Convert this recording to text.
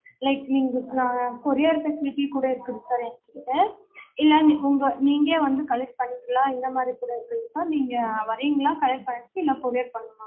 like நீங்க ஆஹ் courier facility கூட இருக்கு sir எங்ககிட்ட இல்ல நீ உங்க நீங்களே வந்து இந்த மாறி கூட இருக்குங்க sir நீங்க வரிங்களா இல்ல courier பண்ணட்டுமா